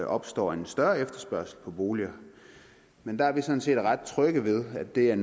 opstår en større efterspørgsel på boliger men der er vi sådan set ret trygge ved at det er